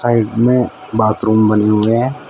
Side में bathroom बनी हुई है।